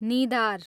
निदार